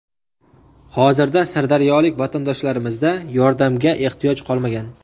hozirda sirdaryolik vatandoshlarimizda yordamga ehtiyoj qolmagan.